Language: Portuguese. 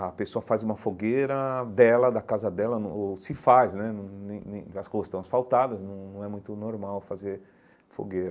A pessoa faz uma fogueira dela, da casa dela, no ou se faz né, num nem nem as costas estão asfaltadas, não não é muito normal fazer fogueira.